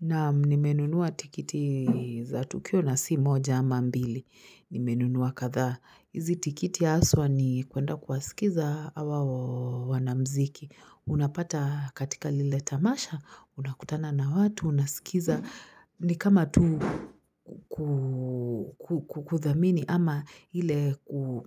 Naam, nimenunua tikiti za tukio na si moja ama mbili. Nimenunua kadhaa. Hizi tikiti haswa ni kuenda kuwasikiza hawa wanamuziki. Unapata katika lile tamasha, unakutana na watu, unasikiza. Ni kama tu kuthamini ama ile